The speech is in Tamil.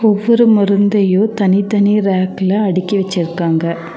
ஒவ்வொரு மருந்தையு தனித்தனி ரேக்ல அடிக்கி வச்சுருக்காங்க.